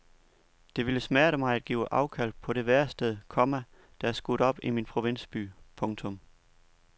Det ville smerte mig at give afkald på det værested, komma der er skudt op i min provinsby. punktum